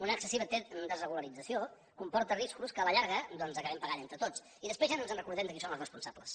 una excessiva desregularització comporta riscos que a la llarga doncs acabem pagant entre tots i després ja no ens recordem de qui són els responsables